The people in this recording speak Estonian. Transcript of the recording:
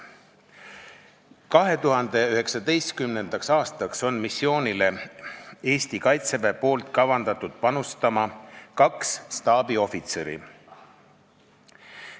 Eesti Kaitsevägi on kavandanud 2019. aastal panustada kahe staabiohvitseriga.